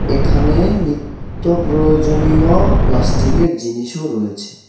এখানে নিত্য প্রয়োজনীয় প্লাস্টিকের জিনিসও রয়েছে.